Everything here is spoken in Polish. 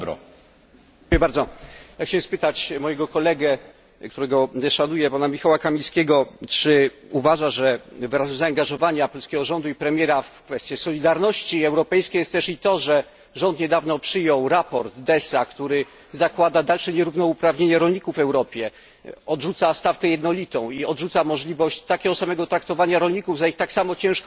Panie Przewodniczący! Chciałem spytać mojego kolegę, którego szanuję, pana Michała Kamińskiego, czy uważa, że wyrazem zaangażowania polskiego rządu i premiera w kwestię solidarności europejskiej jest to, że rząd niedawno przyjął raport Dessa, który zakłada dalsze nierównouprawnienie rolników w Europie, odrzuca jednolitą stawkę i możliwość takiego samego traktowania rolników za ich tak samo ciężką pracę.